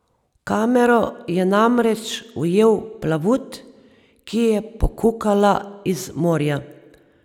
V kamero je namreč ujel plavut, ki je pokukala iz morja.